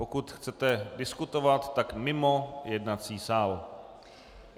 Pokud chcete diskutovat, tak mimo jednací sál.